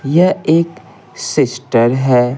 यह एक सिस्टर है।